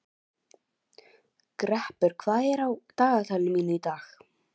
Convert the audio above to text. Greppur, hvað er á dagatalinu mínu í dag?